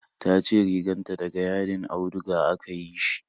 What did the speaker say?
Tace riganta da ga yadin auduga aka yi shi